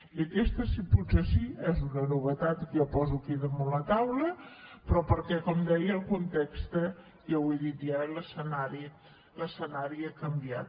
i aquesta sí potser sí és una novetat que jo poso aquí damunt la taula però perquè com deia el context ja ho he dit i l’escenari han canviat